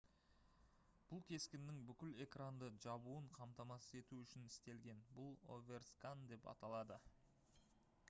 бұл кескіннің бүкіл экранды жабуын қамтамасыз ету үшін істелген бұл оверскан деп аталады